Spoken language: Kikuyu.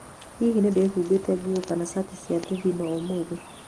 hihi ndĩhumbe nguo kana cati ya thĩthĩno ũmũthĩ?